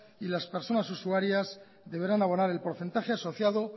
y las personas usuarias deberán abonar el porcentaje asociado